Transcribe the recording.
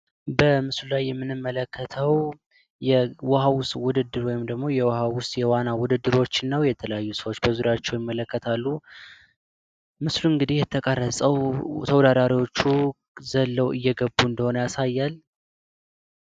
በምስሉ ላይ የምንመለከተው የውሃ ውስጥ ውድድር ወይም ደግሞ የውሃ ውስጥ የዋና ውድድሮች ነው የተለያዩ ሰዎች በዙሪያቸው ይመለከታሉ። ምስሉ እንግዲህ የተቀረፀው ተወዳዳሪዎቹ ዘለው እየገቡ እንደሆነ ያሳያል።